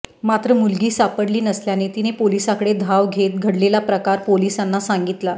मात्र मुलगी सापडली नसल्याने तिने पोलिसांकडे धाव घेत घडलेला प्रकार पोलिसांना सांगितला